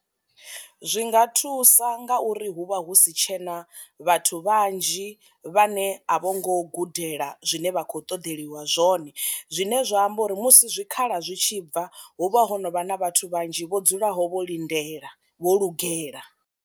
Zwi nga thusa ngauri hu vha hu si tshena vhathu vhanzhi vhane a vho ngo gudela zwine vha khou ṱoḓeliwa zwone, zwine zwa amba uri musi zwi khala zwi tshi bva huvha ho novha na vhathu vhanzhi vho dzulaho vho lindela vho lugela.